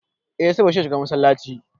Eh saboda shi ne shugaban massalaci.